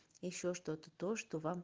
ещё что-то то что вам